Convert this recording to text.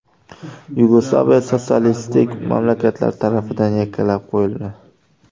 Yugoslaviya sotsialistik mamlakatlar tarafidan yakkalab qo‘yildi.